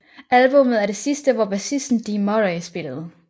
Albummet er det sidste hvor bassisten Dee Murray spillede